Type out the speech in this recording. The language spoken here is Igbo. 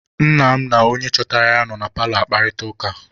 Nna m na onye chọtara ya nọ na paalọ akparịta ụka.